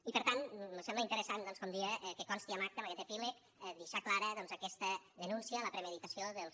i per tant mos sembla interessant doncs com deia que consti en acta en aquest epíleg deixar clara aquesta denúncia de la premeditació dels